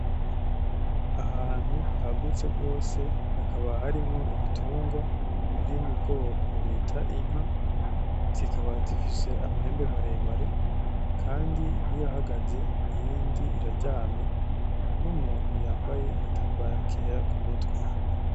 Ahantu hagutse gwose hakaba harimwo ibitungwa biri mu bwoko bita inka. Zikaba zifise amahembe maremare kandi imwe irahagaze iyindi iraryamye n’umuntu yambaye agatambara kera kumutwe.